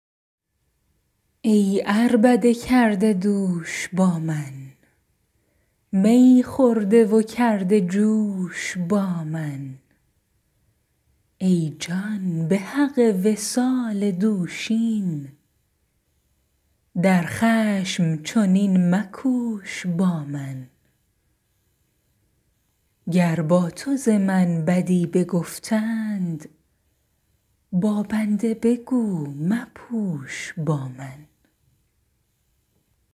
ای عربده کرده دوش با من می خورده و کرده جوش با من ای جان به حق وصال دوشین در خشم چنین مکوش با من گر با تو ز من بدی بگفتید با بنده بگو مپوش با من